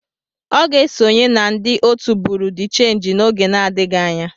Ọ ga-esonye na ndị otu Buru di chenji n'oge adịghị anya.